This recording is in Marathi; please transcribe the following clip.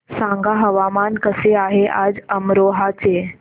सांगा हवामान कसे आहे आज अमरोहा चे